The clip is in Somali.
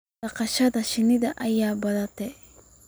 dhaqashada shinnida ayaa badatay